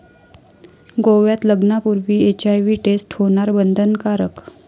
गोव्यात लग्नापूर्वी HIV test होणार बंधनकारक